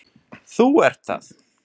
Þú ert það.